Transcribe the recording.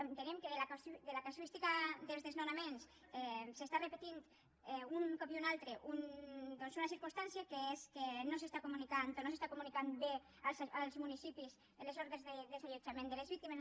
entenem que de la casuística dels desnonaments s’està repetint un cop i un altre doncs una circumstància que és que no es comunica o no es comunica bé als municipis les ordres de desallotjament de les víctimes